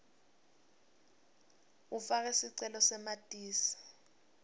ufake sicele samatisi